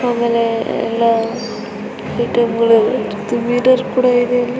ಆಮೇಲೆ ಎಲ್ಲಾ ಐಟಂಗಳು ಒಂದು ಮಿರರ್ ಕೂಡಾ ಇದೆ ಅಲ್ಲಿ.